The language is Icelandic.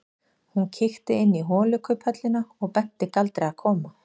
Hún kíkti inn í holukubbhöllina og benti Galdri að koma.